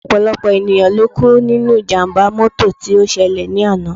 Ọ̀pọ̀lọpọ̀ ènìyàn ló kú nínú ìjàmbá mọ́tò tí ó ṣẹlẹ̀ lánàá